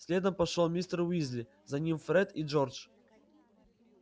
следом пошёл мистер уизли за ним фред и джордж